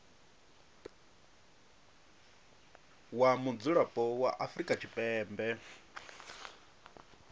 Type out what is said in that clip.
wa mudzulapo wa afrika tshipembe